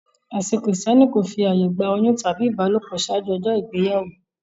Ẹṣin kírísítẹ́nì kò fi àyè gba oyún tàbí ìbálòpọ̀ ṣáájú ọjọ́ ìgbéyàwó.